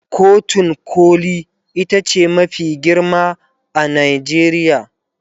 kotun koli itace mafi girma a Najeriya